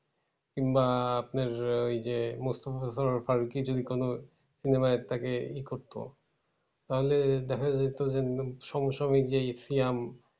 কিংবা আপনার ওই যে মুস্তফা সারোয়ার ফারুকই যদি কোনো cinema য় তাকে ই করতো। তাহলে দেখা যেত যে, সঙ্গে সঙ্গে যে ইথিয়াম